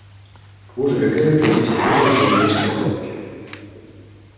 боже какая прелесть и выхватила её из картонки